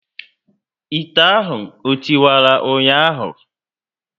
Ite ahụ o tiwara ụnyaahụ?